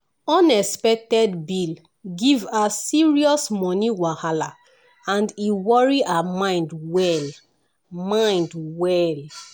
unexpected bill give her serious money wahala and e worry her mind well mind well.